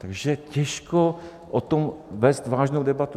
Takže těžko o tom vést vážnou debatu.